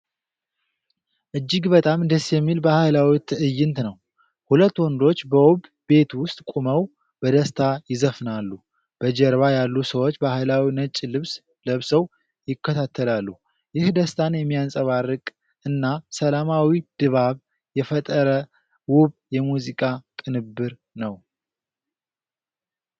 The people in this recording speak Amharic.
እጅግ በጣም ደስ የሚል ባህላዊ ትዕይንት ነው። ሁለት ወንዶች በውብ ቤት ውስጥ ቆመው በደስታ ይዘፍናሉ። በጀርባ ያሉ ሰዎች ባህላዊ ነጭ ልብስ ለብሰው ይከተላሉ፤ ይህ ደስታን የሚያንጸባርቅ እና ሰላማዊ ድባብ የፈጠረ ውብ የሙዚቃ ቅንብር ነው።